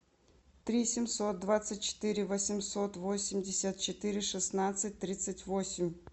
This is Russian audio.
три семьсот двадцать четыре восемьсот восемьдесят четыре шестнадцать тридцать восемь